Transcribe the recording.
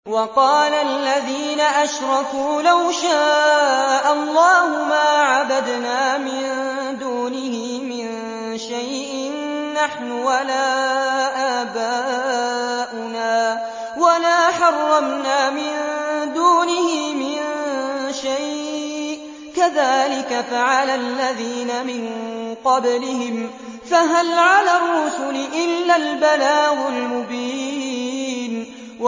وَقَالَ الَّذِينَ أَشْرَكُوا لَوْ شَاءَ اللَّهُ مَا عَبَدْنَا مِن دُونِهِ مِن شَيْءٍ نَّحْنُ وَلَا آبَاؤُنَا وَلَا حَرَّمْنَا مِن دُونِهِ مِن شَيْءٍ ۚ كَذَٰلِكَ فَعَلَ الَّذِينَ مِن قَبْلِهِمْ ۚ فَهَلْ عَلَى الرُّسُلِ إِلَّا الْبَلَاغُ الْمُبِينُ